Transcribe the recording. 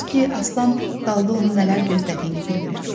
Əfsus ki, Aslan dalda onu nələr gözlədiyini bilmirdi.